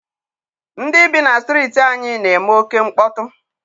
Ndị bi na strịịtị anyị na-eme oké mkpọtụ.